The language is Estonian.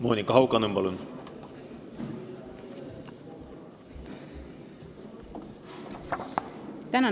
Monika Haukanõmm, palun!